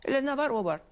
Elə nə var o var.